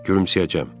Gülümsəyəcəm.